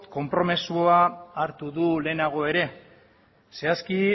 konpromezua hartu du lehenago ere zehazki